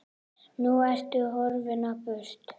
Nú ertu horfin á braut.